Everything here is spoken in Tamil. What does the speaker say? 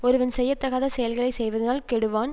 ஒருவன் செய்யத்தகாத செயல்களை செய்வதனால் கெடுவான்